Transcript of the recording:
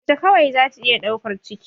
Mace kawai zata iya ɗaukan ciki